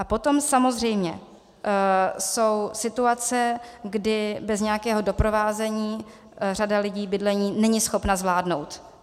A potom samozřejmě jsou situace, kdy bez nějakého doprovázení řada lidí bydlení není schopna zvládnout.